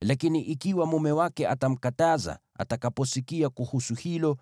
Lakini ikiwa mume wake atamkataza atakaposikia kuhusu hilo,